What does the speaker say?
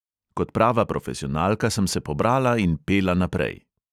Kot prava profesionalka sem se pobrala in pela naprej.